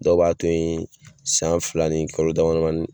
Dɔw b'a to yen san fila ni kalo dama damani